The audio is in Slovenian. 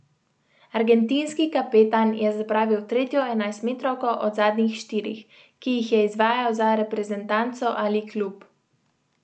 Argentinski kapetan je zapravil tretjo enajstmetrovko od zadnjih štirih, ki jih je izvajal za reprezentanco ali klub.